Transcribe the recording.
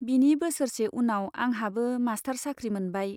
बिनि बोसोरसे उनाव आंहाबो मास्टार साख्रि मोनबाय।